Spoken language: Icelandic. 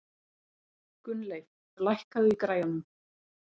Gunnleif, lækkaðu í græjunum.